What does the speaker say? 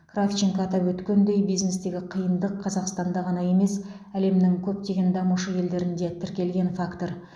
кравченко атап өткендей бизнестегі қиындық қазақстанда ғана емес әлемнің көптеген дамушы елдерінде тіркелген фактор